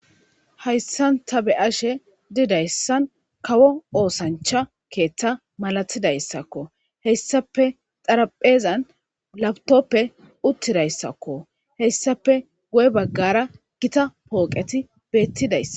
hayssan ta be'ashe didayssan kawo oosancha keeththa malatidayssakko heyssape xarapheezan labtoppe uttidayssakko heyssape guye baggara gita pooqeti beettidayssa